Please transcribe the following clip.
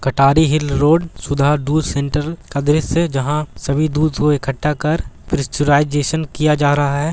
कटरी hill road सुधार दूध centre काछे छे जहा सभी दूध को ईकडा कर परिचराइजेसन किया जा रहा है।